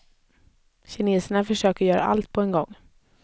Kineserna försöker göra allt på en gång.